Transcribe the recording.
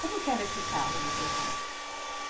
Como que era esse carro do seu pai?